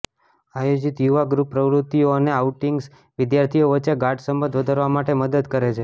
આયોજિત યુવા ગ્રૂપ પ્રવૃત્તિઓ અને આઉટિંગ્સ વિદ્યાર્થીઓ વચ્ચે ગાઢ સંબંધો વધારવા માટે મદદ કરે છે